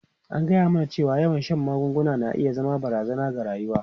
An gaya mana cewa yawan shan magunguna na iya zama barazana ga rayuwa.